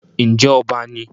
Ǹjẹ́ ọba ni?